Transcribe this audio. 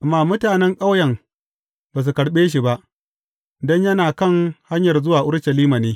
Amma mutanen ƙauyen ba su karɓe shi ba, don yana kan hanyar zuwa Urushalima ne.